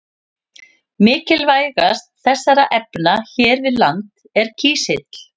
Mikilvægast þessara efna hér við land er kísill.